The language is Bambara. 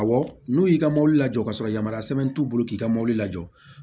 Awɔ n'u y'i ka mobili jɔ ka sɔrɔ yamaruya sɛbɛn t'u bolo k'i ka mobili jɔ